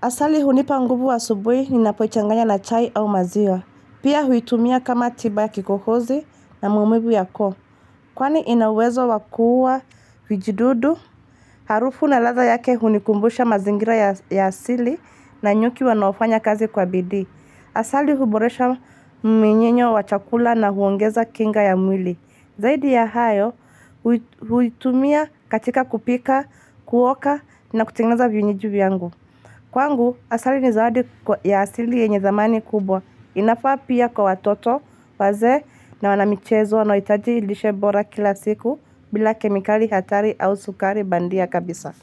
Asali hunipa nguvu asubuhi ninapoichanganya na chai au maziwa. Pia huitumia kama tiba ya kikohozi na maumivu ya koo. Kwani ina uwezo wa kua vijidudu. Harufu na ladha yake hunikumbusha mazingira ya asili na nyuki wanaofanya kazi kwa bidii. Asali huboresha mminyinyo wa chakula na huongeza kinga ya mwili. Zaidi ya hayo, huitumia katika kupika, kuoka na kutengeneza vinywaji vyangu. Kwangu, asali ni zawadi ya asili yenye thamani kubwa. Inafaa pia kwa watoto wazee na wanamchezo wanahitaji lishe bora kila siku bila kemikali hatari au sukari bandia kabisa.